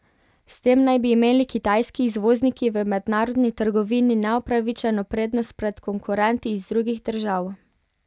S tem naj bi imeli kitajski izvozniki v mednarodni trgovini neupravičeno prednost pred konkurenti iz drugih držav.